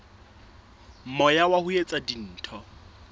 moya wa ho etsa dintho